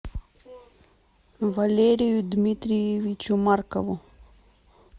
валерию дмитриевичу маркову